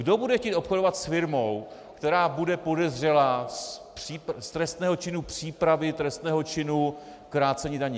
Kdo bude chtít obchodovat s firmou, která bude podezřelá z trestného činu přípravy trestného činu krácení daní?